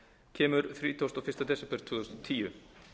kemur þrítugasta og fyrsta desember tvö þúsund og tíu